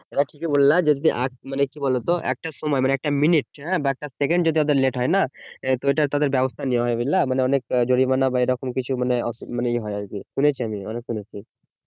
এটা ঠিকি বল্লা যে মানে কি বলতো একটা সময় একটা মিনিট বা একটা সেকেন্ড যদি ওদের late হয় নাতো ওটা তাদের ব্যবস্থা নেওয়া য়া হয় বুঝলা মানে অনেক জরিমানা বা এরকম কিছু মানে ইয়ে অসু হয় আর কি শুনেছি আমি অনেক শুনেছি